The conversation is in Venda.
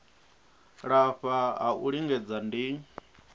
lafha ha u lingedza ndi